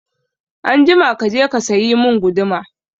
Anjima kaje ka sayi mun guduma